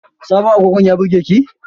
Sabon agogon ya burge ki?